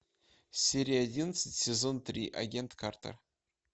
серия одиннадцать сезон три агент картер